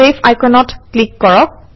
save আইকনত ক্লিক কৰক